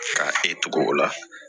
K'a e tugu o la